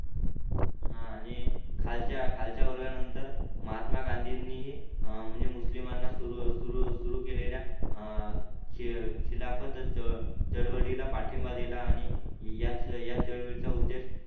हा नी खालच्या खालच्या वर्गा नंतर महात्मा गंधिनीही मुस्लिमांना सुरू सुरू केलेल्या अं खिलाफत च चळवळीला पाठिंबा दिल आणि याच या चळवळीचा उद्देश